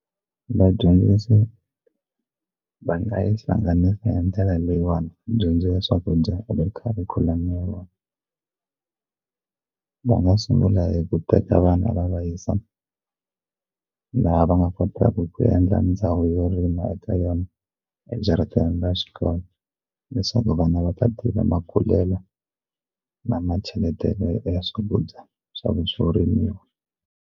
Vadyondzisi va nga yi hlanganisa hi ndlela leyiwani dyondzo ya swakudya eka kharikhulamu ya vona va nga sungula hi ku teka vana va va yisa laha va nga kotaka ku endla ndhawu yo rima eka yona ejarateni ra xikolo leswaku vana va ta makululelo na ma cheletelelo ya swakudya swo rimiwa.